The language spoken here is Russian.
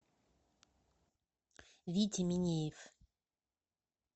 витя минеев